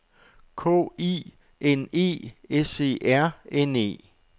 K I N E S E R N E